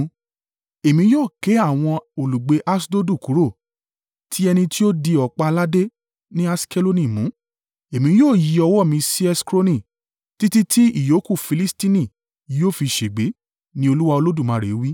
Èmi yóò ké àwọn olùgbé Aṣdodu kúrò, ti ẹni tí ó di ọ̀pá aládé ní Aṣkeloni mú. Èmi yóò yí ọwọ́ mi sí Ekroni títí tí ìyókù Filistini yóò fi ṣègbé,” ni Olúwa Olódùmarè wí.